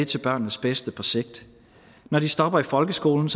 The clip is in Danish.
til børnenes bedste på sigt når de stopper i folkeskolen